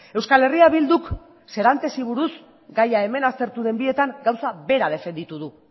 euskal herria bilduk serantesi buruz gaia hemen aztertu den bietan gauza bera defenditu du